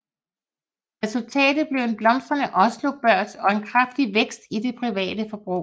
Resultatet blev en blomstrende Oslo Børs og en kraftig vækst i det private forbrug